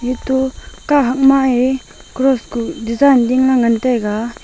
eto kahak ma eh cross ku design dingley ngan tega.